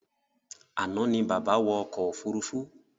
Àná ní bàbá wọ̀ ọkọ̀ òfurufú